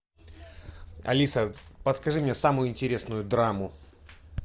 алиса подскажи мне самую интересную драму